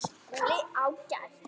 SKÚLI: Ágætt!